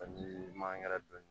Ani mangɛrɛ dɔn